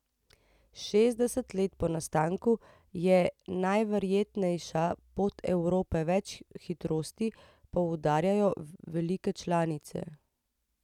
Šestdeset let po nastanku je najverjetnejša pot Evropa več hitrosti, poudarjajo velike članice.